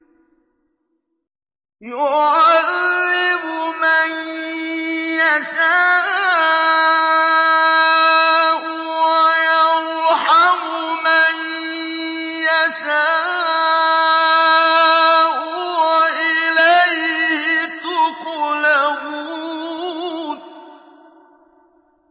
يُعَذِّبُ مَن يَشَاءُ وَيَرْحَمُ مَن يَشَاءُ ۖ وَإِلَيْهِ تُقْلَبُونَ